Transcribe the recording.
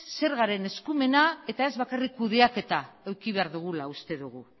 zergaren eskumena eta ez bakarrik kudeaketa eduki behar dugula uste dugu